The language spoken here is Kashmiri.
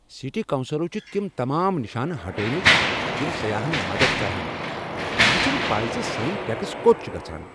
سٹی کونسلو چھ تم تمام نشانہ ہٹٲوِۍ متۍ یمِ سیاحن مدد کرہن مےٚ چھنہٕ پَے زِ سانۍ ٹیکس کوٚت چھِ گژھان۔